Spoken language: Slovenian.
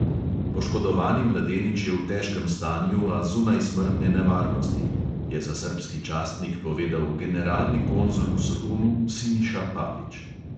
"Poškodovani mladenič je v težkem stanju, a zunaj smrtne nevarnosti," je za srbski časnik povedal generalni konzul v solunu siniša pavić.